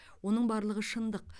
оның барлығы шындық